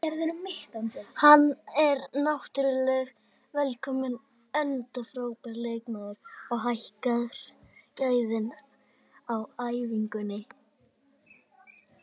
Hann er náttúrulega velkominn enda frábær leikmaður og hækkar gæðin á æfingunni.